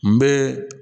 N bɛ